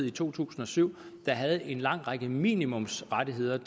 i to tusind og syv en lang række minimumsrettigheder